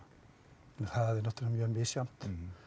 það er náttúrulega mjög misjafnt